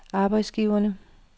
arbejdsgiverne